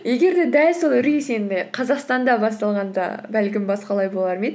егер де дәл сол үрей сені қазақстанда басталғанда бәлкім басқалай болар ма еді